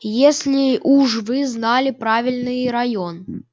если уж вы знали правильный район